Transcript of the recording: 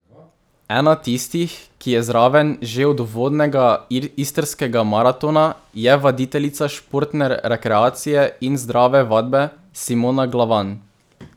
Ena tistih, ki je zraven že od uvodnega Istrskega maratona je vaditeljica športne rekreacije in zdrave vadbe, Simona Glavan.